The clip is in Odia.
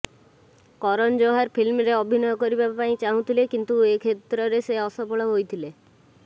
କରନ ଯୋହର ଫିଲ୍ମରେ ଅଭିନୟ କରିବା ପାଇଁ ଚାହୁଁଥିଲେ କିନ୍ତୁ ଏହି କ୍ଷେତ୍ରରେ ସେ ଅସଫଳ ହୋଇଥିଲେ